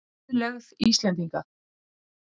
Auðlegð Íslendinga.